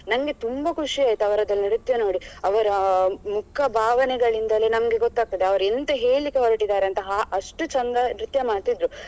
ನನ್ಗೆ ತುಂಬಾ ಖುಷಿಯಾಯ್ತು ಅವರದೆಲ್ಲ ನೃತ್ಯ ನೋಡಿ ಅವರ ಮುಖ ಭಾವನೆಗಳಿಂದಲೇ ನಮ್ಗೆ ಗೊತ್ತಾಗ್ತದೆ ಅವರು ಎಂತ ಹೇಳ್ಳಿಕೆ ಹೊರಟಿದ್ದಾರೆ ಅಂತ ಅಷ್ಟು ಚಂದ ನೃತ್ಯ ಮಾಡ್ತಿದ್ರು.